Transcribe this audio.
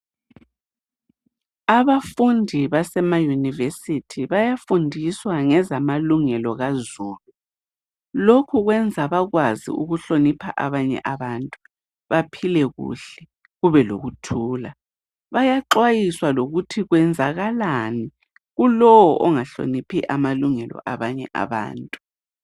Abafundi basema yunivesithi bayafundiswa ngezamalungelo kazulu lokhu kwenza bakwazi ukuhlonipha abanye abantu baphile kuhle kube lokuthula bayaxwayiswa lokuthi kwenzakalani kulowo ongahloniphi amalungelo abanye abantu.